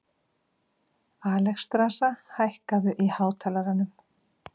Alexstrasa, hækkaðu í hátalaranum.